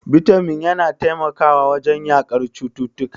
Bitamin yana taimakawa wajen yaƙar cututtuka.